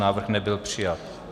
Návrh nebyl přijat.